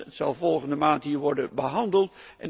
Het zal volgende maand hier worden behandeld.